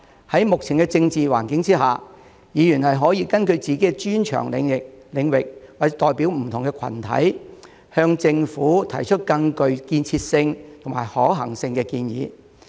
在目前的政治環境下，議員可根據自己的專長領域或代表不同的群體，向政府提出更具建設性及可行性的建議。